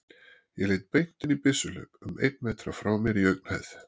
Ég leit beint inn í byssuhlaup um einn metra frá mér í augnhæð.